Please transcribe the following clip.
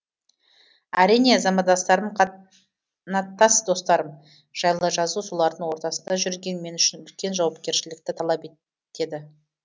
әрине замандастарым қанаттас достарым жайлы жазу солардың ортасында жүрген мен үшін үлкен жауакершілікті талап ет теді